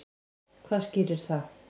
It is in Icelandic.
Hvað skýrir það?